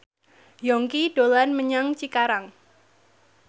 Yongki dolan menyang Cikarang